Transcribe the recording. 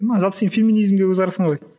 жалпы сен феминизмге көзқарасың қалай